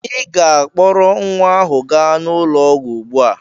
Ị ga-akpọrọ nwa ahụ gaa ụlọ ọgwụ ugbu a!